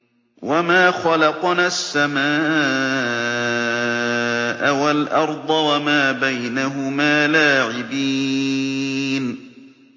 وَمَا خَلَقْنَا السَّمَاءَ وَالْأَرْضَ وَمَا بَيْنَهُمَا لَاعِبِينَ